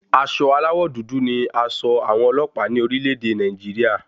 Aṣọ aláwọ̀ dúdú ní aṣọ àwọn ọlọ́pàá ní orílẹ̀-ẹ̀dẹ̀ Nàìjírí.